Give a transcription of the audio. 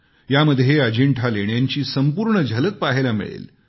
यामध्ये अजिंठा लेण्यांची संपूर्ण झलक पहायला मिळेल